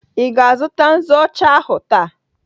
Ị ga-azụta nzu ọcha ahụ taa?